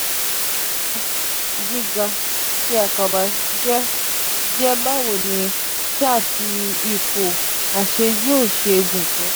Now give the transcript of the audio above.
giga: giga ti akaba jẹ jẹ bawo ni saa ti ipo ase yoo ṣe um gun to.